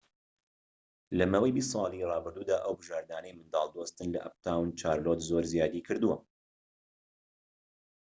لە ماوەی ٢٠ ساڵی ڕابردوودا، ئەو بژاردانەی منداڵ دۆستن لە ئەپتاون چارلۆت زۆر زیادی کردووە